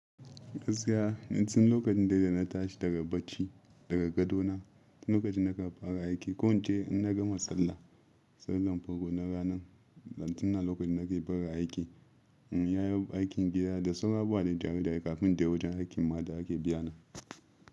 Gaskiya, ni tun lokacin dai da na tashi daga bacci daga gado na, lokacin da aka fara aiki ko wance in na gama sallah, sallar farko na ranan, dan tun a lokacin nake fara aiki, in na yi aikin gida da sauran abubuwa dai da ni kafin in je wajen aikin ma da ake biyana.